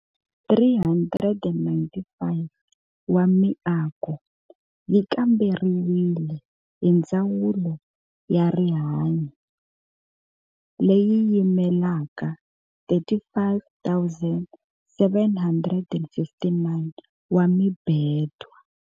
395 wa miako yi kamberiwile hi Ndzawulo ya Rihanyo, leyi yimelaka 35 759 wa mibedwa.